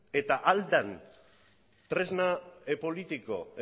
eta ahal den tresna politiko